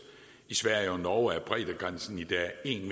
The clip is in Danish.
i sverige og norge er breddegrænsen i dag en